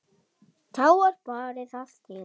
Þá var barið að dyrum.